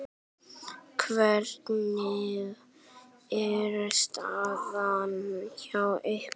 Hvernig er staðan hjá ykkur?